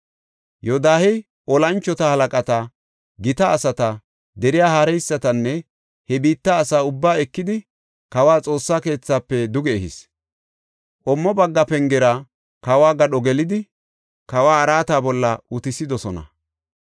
Yoodahey tora moconata, gita asata, deriya haareysatanne he biitta asa ubbaa ekidi kawa Xoossa keethafe duge ehis. Qommo bagga pengera kawo gadho gelidi kawa araata bolla utisidosona.